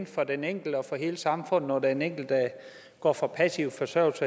for den enkelte og for hele samfundet når den enkelte går fra passiv forsørgelse